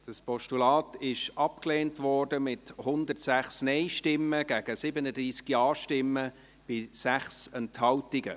Dieses Postulat wurde abgelehnt, mit 106 Nein- gegen 37 Ja-Stimmen bei 6 Enthaltungen.